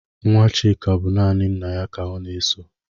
Nwa Chịka bụ naanị nna ya ka ọ na-eso